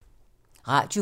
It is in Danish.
Radio 4